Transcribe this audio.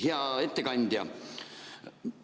Hea ettekandja!